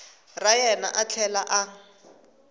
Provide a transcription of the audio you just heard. ra yena a tlhela a